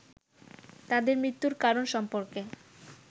তাদের মৃত্যুর কারণ সম্পর্কে